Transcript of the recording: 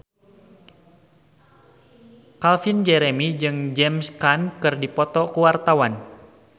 Calvin Jeremy jeung James Caan keur dipoto ku wartawan